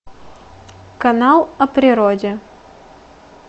канал о природе